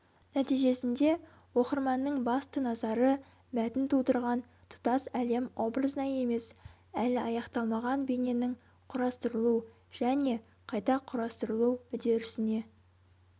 нәтижесінде оқырманның басты назары мәтін тудырған тұтас әлем образына емес әлі аяқталмаған бейненің құрастырылу және қайта құрастырылу үдерісіне